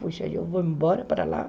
Puxa, eu vou embora para lá.